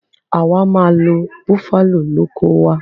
Àwa máa lo buffalo lóko wa